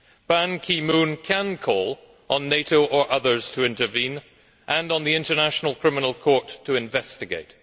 Ban Ki moon can call on NATO or others to intervene, and on the International Criminal Court to investigate.